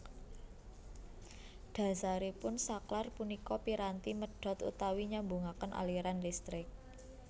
Dhasaripun saklar punika piranti medhot utawi nyambungaken aliran listrik